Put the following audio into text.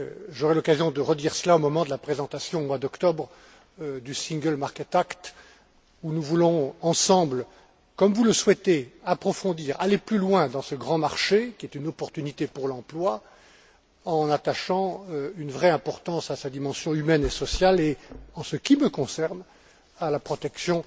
J'aurai l'occasion de redire cela au moment de la présentation, au mois d'octobre, du Single market act dans le cadre duquel nous voulons ensemble, comme vous le souhaitez, approfondir, aller plus loin dans ce grand marché, qui est une opportunité pour l'emploi en attachant une vraie importance à sa dimension humaine et sociale et, en ce qui me concerne, à la protection